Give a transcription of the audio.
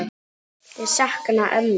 Ég sakna ömmu.